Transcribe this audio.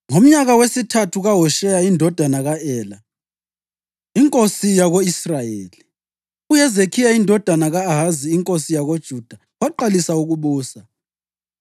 Ngomnyaka wesithathu kaHosheya indodana ka-Ela inkosi yako-Israyeli, uHezekhiya indodana ka-Ahazi inkosi yakoJuda waqalisa ukubusa.